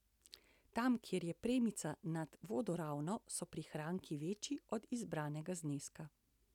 Tam, kjer je premica nad vodoravno, so prihranki večji od izbranega zneska.